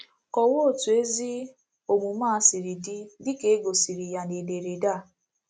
Kọwaa otu ezi omume a siri dị, dị ka e gosiri ya n'ederede a.